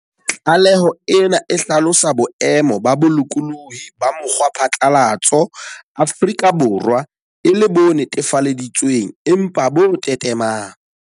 Tlaleho ena e hlalosa boemo ba bolokolohi ba mokgwaphatlalatso Afrika Borwa e le "bo netefaleditswe ng empa bo tetemang".